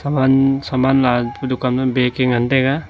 saman saman la pa dukan ma bag e ngan taga.